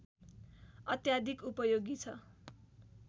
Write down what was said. अत्याधिक उपयोगी छ